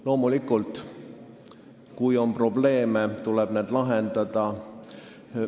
Loomulikult, kui on probleeme, tuleb need lahendada.